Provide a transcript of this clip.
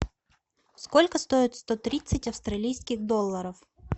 сколько стоит сто тридцать австралийских долларов